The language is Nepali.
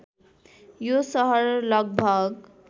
यो शहर लगभग